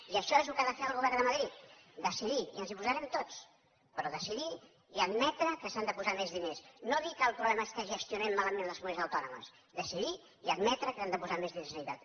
i això és el que ha de fer el govern de madrid decidir i ens hi posarem tots però decidir i admetre que s’han de posar més diners no dir que el problema és que gestionem malament les comunitats autònomes decidir i admetre que s’han de posar més diners a sanitat